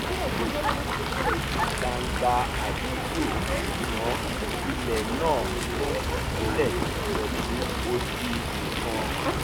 wọ́n ṣe ìkéde gbangba àdúgbò ṣùgbọ́n ilẹ̀ náà kù sílẹ̀ pẹ̀lú odi nìkan